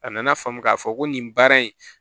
A nana faamu k'a fɔ ko nin baara in